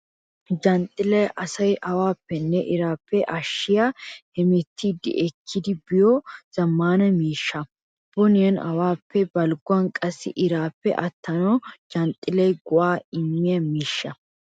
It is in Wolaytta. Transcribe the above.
Janxxillay asaa awaappenne iraappe ashshiya, hemettiiddi ekkidi efiyo zammaana miishsha. Boniyan awaappe, balgguwan qassi iraappe attanawu janxxillay go"aa immiya miishsha.